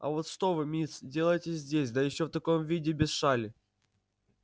а вот что вы мисс делаете здесь да ещё в таком виде без шали